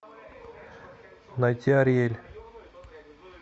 найти ариэль